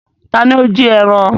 Taàní ó jí ẹran?